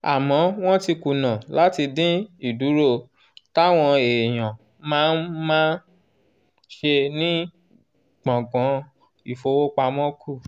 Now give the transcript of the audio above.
àmọ́ wọ́n ti kùnà láti dín ìdúró táwọn èèyàn máa ń máa ń ṣe ní gbọ̀ngàn ìfowópamọ́ kù.